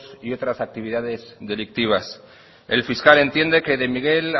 y otras actividades delictivas el fiscal entiende que de miguel